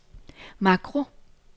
makro